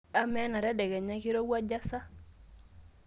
amaa enatedekenya keirowuaju sa